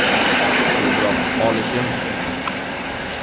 Tezroq olishim kerak.